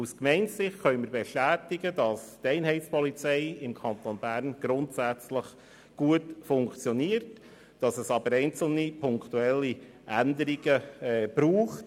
Aus Gemeindesicht können wir bestätigen, dass die Einheitspolizei im Kanton Bern grundsätzlich gut funktioniert, dass es aber in dieser Gesetzesvorlage einzelne punktuelle Änderungen braucht.